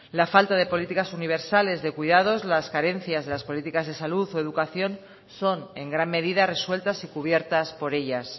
la falta de políticas universales de cuidados las carencias de las políticas de salud o educación son en gran medida resueltas y cubiertas por ellas